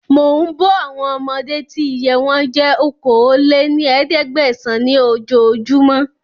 Mò ń bọ̀ àwọn ọmọdé tí iye wọn jẹ́ okòó lé ní ẹ̀ẹ́dẹ́gbẹ́sán ni oojo júmọ́